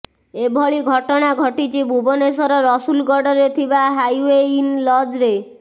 ଏଭଳି ଘଟଣା ଘଟିଛି ଭୁବନେଶ୍ୱର ରସୁଲଗଡରେ ଥିବା ହାଇୱେ ଇନ୍ ଲଜରେ